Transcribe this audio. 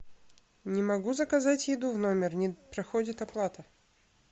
не могу заказать еду в номер не проходит оплата